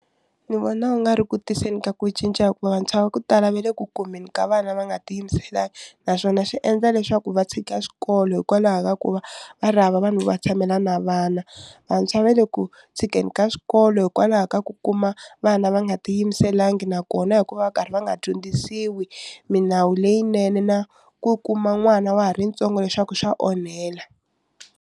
Ni vona wu nga ri ku tirhiseni ka ku cinca hikuva vantshwa va ku tala va le ku kumeni ka vana va nga ti yimiselangi naswona swi endla leswaku va tshika xikolo hikwalaho ka ku va va ri hava vanhu va tshamela na vana vantshwa va le ku tshikeni ka swikolo hikwalaho ka ku kuma vana va nga ti yimiselangi nakona hikuva va karhi va nga dyondzisiwi milawu leyinene na ku kuma n'wana wa ha ri ntsongo leswaku swa onhela.